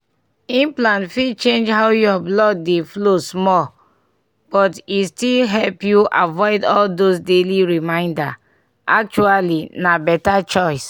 implant fit change how your blood dey flow small but e still help you avoid all those daily reminders. actually na better choice.